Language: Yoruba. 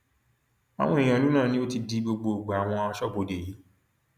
àwọn èèyàn ìlú náà ni ó ti di gbogbo ìgbà àwọn aṣọbodè yìí